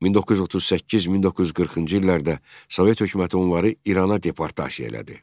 1938-1940-cı illərdə Sovet hökuməti onları İrana deportasiya elədi.